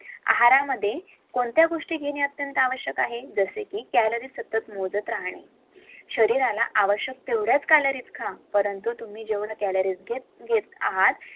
आहारमध्ये कोणत्या गोष्टी घेणे आवश्यक आहे जस की calorie सतत मोजत राहणे शरीराला आवश्यक तेवढ्याच calories खा परंतु तुम्ही जेवढ्या calories घेत आहेत